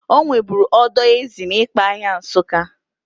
Onweburu odo ezi n'Ikpa ahịa Nsuka.